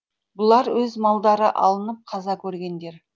бұлар өз малдары алынып қаза көргендер